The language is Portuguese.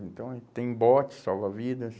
Então, aí tem botes, salva-vidas.